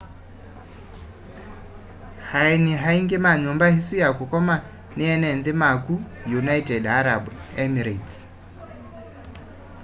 aeni aingi ma nyumba isu ya kukoma ni ene nthi ma ku united arab emirates